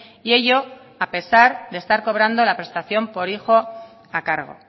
y ello a pesar de estar cobrando la prestación por hijo a cargo